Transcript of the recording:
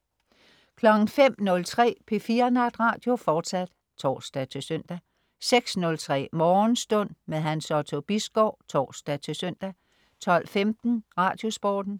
05.03 P4 Natradio. fortsat (tors-søn) 06.03 Morgenstund. Hans Otto Bisgaard (tors-søn) 12.15 Radiosporten